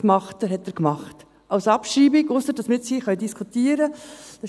Dies hat er als Abschreibung gemacht, ausser, dass wir hier diskutieren können.